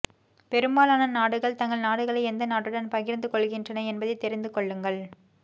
பெரும்பாலான நாடுகள் தங்கள் நாடுகளை எந்த நாட்டுடன் பகிர்ந்து கொள்கின்றன என்பதைத் தெரிந்துகொள்ளுங்கள்